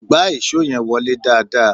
Gbá ìṣó yẹn wọlé dáadáa!